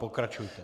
Pokračujte.